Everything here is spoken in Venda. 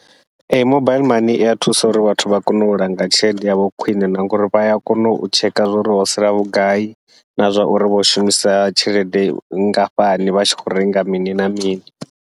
Ee mobile maine ia thusa uri vhathu vha kone u langa tshelede yavho khwiṋe, na ngauri vha ya kona u tsheka zwa uri ho sala vhugai, na zwa uri vho shumisa tshelede nngafhani vha tshi khou renga mini na mini.